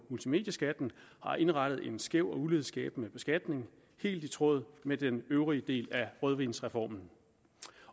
multimedieskatten har indrettet en skæv og ulighedsskabende beskatning helt i tråd med den øvrige del af rødvinsreformen